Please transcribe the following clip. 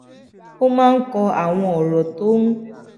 ó máa ń kọ àwọn òrò tó ń